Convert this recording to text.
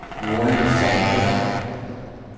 Joan Sandberg